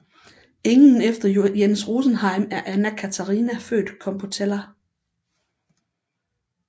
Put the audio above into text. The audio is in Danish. Enken efter Jens Rosenheim er Anna Catharina født Compoteller